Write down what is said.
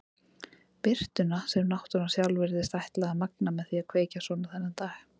Birtuna sem náttúran sjálf virtist ætla að magna með því að kveikja svona þennan dag.